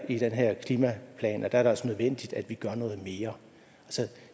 i den her klimaplan er det altså nødvendigt at vi gør noget mere